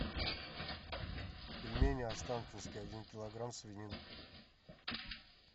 пельмени останкинские один килограмм свинина